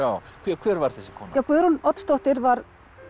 hver var þessi kona Guðrún Oddsdóttir var